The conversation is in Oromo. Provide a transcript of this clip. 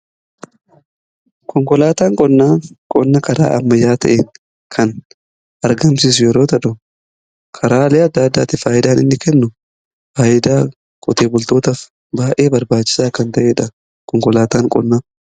Konkolaataan qonnaa, qonna karaa ammayyaa ta'een kan argamsiisu yoo ta'u karaalee adda addaatin faayidaan inni kennu faayidaa qotee bultootaf baay'ee barbaachisaa kan ta'eedha.